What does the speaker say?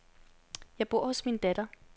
Jeg bor hos min datter.